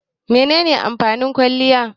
Menene amfanin kwaliya?